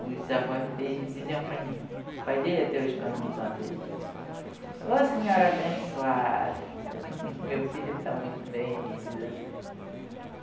Os avós deles diziam para mim, o pai dele até hoje, quando me encontra, diz, ô senhora abençoada, meu filho está muito bem, ele diz assim.